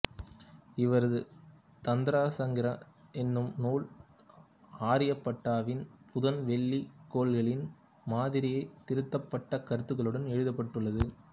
இவரது தந்தரசங்கிரகா எனும் நூல் ஆரியப்பட்டாவின் புதன் வெள்ளி கோள்களின் மாதிரியை திருத்தப்பட்ட கருத்துகளுடன் எழுதப்பட்டுள்ளது